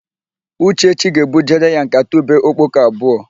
Uchechi ga-ebujere ya nkata ube okpoko abụọ.